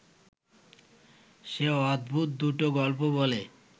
সে অদ্ভুত দুটো গল্প বলে